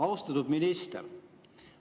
Austatud minister!